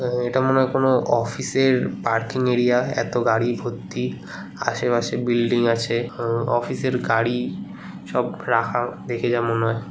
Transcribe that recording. এটা মনে হয় কোন অফিস -এর পার্কিং এরিয়া এত গাড়ি ভর্তি। আশেপাশে বিল্ডিং আছে। অ অফিস -এর গাড়ি সব রাখা দেখে যা মনে হয়।